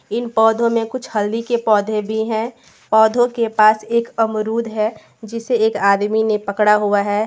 इन पौधों में कुछ हल्दी के पौधे भी हैं पौधों के पास एक अमरुद है जिसे एक आदमी ने पकड़ा हुआ है।